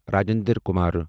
Rajendra Kumar